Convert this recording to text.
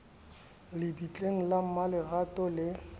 le bitleng la mmaletrato le